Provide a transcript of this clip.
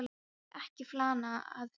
Hann vill ekki flana að neinu.